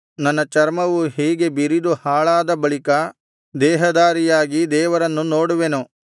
ನನ್ನ ಚರ್ಮವು ಹೀಗೆ ಬಿರಿದು ಹಾಳಾದ ಬಳಿಕ ದೇಹಧಾರಿಯಾಗಿ ದೇವರನ್ನು ನೋಡುವೆನು